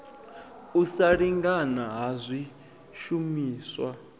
u sa lingana ha swishumiswa